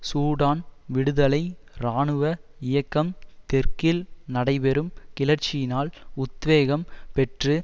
Sudan விடுதலை இராணுவ இயக்கம் தெற்கில் நடைபெறும் கிளர்ச்சியினால் உத்வேகம் பெற்று